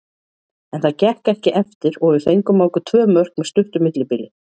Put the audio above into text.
En það gekk ekki eftir og við fengum á okkur tvö mörk með stuttu millibili.